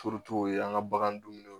an ka bagan dumuni